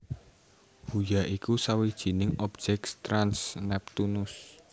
Huya iku sawijining objèk trans Neptunus